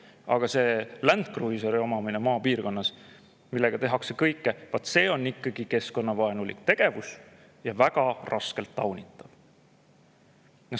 Aga maal Land Cruiser, millega tehakse kõike, siis vot see on ikkagi keskkonnavaenulik tegevus ja väga raskelt taunitav.